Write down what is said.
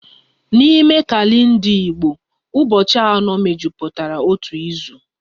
N'ime kalenda Igbo, ụbọchị anọ mejupụtara otu izu